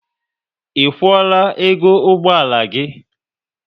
Ị kwuola ego ụgbọala gị?